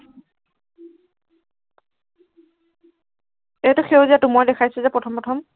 এইটো সেউজীয়াটো, মই দেখাইছো যে প্ৰথম প্ৰথম